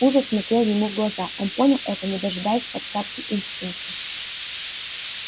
ужас смотрел ему в глаза он понял это не дожидаясь подсказки инстинкта